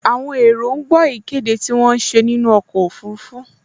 Àwọn èrò ń gbọ́ ìkéde tí wọ́n ń ṣe nínú ọkọ̀ ọfurufú